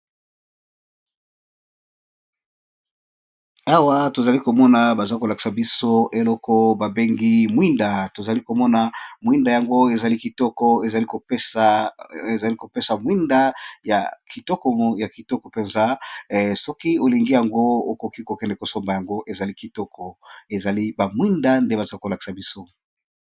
Oyo ezali mwinda bato batiyaka likolo na plafond na lopoto babengi lampadere.